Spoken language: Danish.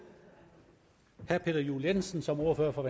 herre peter juel jensen som ordfører for